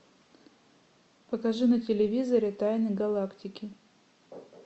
покажи на телевизоре тайны галактики